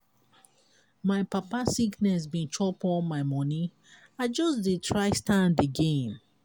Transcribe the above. my papa sickness bin chop all my moni i just dey try stand again.